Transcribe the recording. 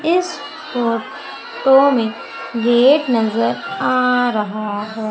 इस फोटो में गेट नजर आ रहा है।